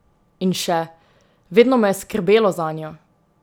In še: "Vedno me je skrbelo zanjo.